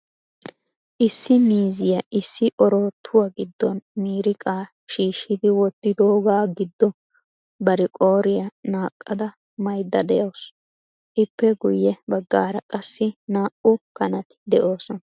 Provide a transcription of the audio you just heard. Issi miizziya issi oorattuwa giddon miiriqa shiishshidi wottidooga giddo bari qooriyaa naqqada maayyida de'awus. Ippe guyye baggaara qassi naa"u kanati de'oosona.